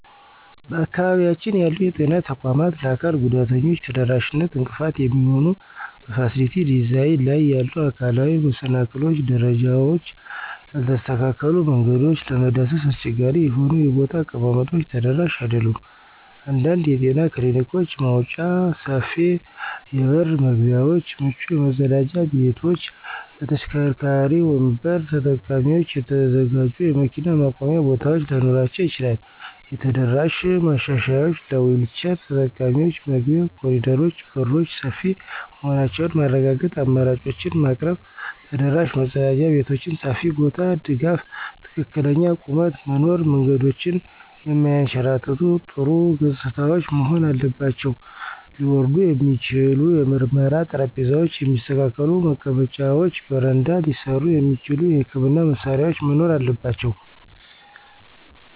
በአካባቢያችን ያሉ የጤና ተቋማት ለአካል ጉዳተኞች ተደራሽነት እንቅፋት የሚሆኑ በፋሲሊቲ ዲዛይን ላይ ያሉ አካላዊ መሰናክሎች - ደረጃዎች፣ ያልተስተካከሉ መንገዶች፣ ለመዳሰስ አስቸጋሪ የሆኑ የቦታ አቀማመጦች ተደራሽ አይደሉም። አንዳንድ የጤና ክሊኒኮች መወጣጫ፣ ሰፊ የበር መግቢያዎች፣ ምቹ መጸዳጃ ቤቶች ለተሽከርካሪ ወንበር ተጠቃሚዎች የተዘጋጁ የመኪና ማቆሚያ ቦታዎች ላይኖራቸው ይችላል። የተደራሽ ማሻሻያዎች - ለዊልቸር ተጠቃሚዎች መግቢያ፣ ኮሪደሮች፣ በሮች ሰፊ መሆናቸውን ማረጋገጥ፣ አማራጮችን ማቅረብ። ተደራሽ መጸዳጃ ቤቶች (ሰፊ ቦታ፣ ድጋፎች፣ ትክክለኛ ቁመት) መኖር። መንገዶች የማያንሸራትቱ፣ ጥሩ ገጽታዎች መሆን አለባቸው። ሊወርድ የሚችል የምርመራ ጠረጴዛ፣ የሚስተካከሉ መቀመጫዎች፣ በረዳት ሊሠሩ የሚችሉ የሕክምና መሳሪያዎች መኖር አለባቸው።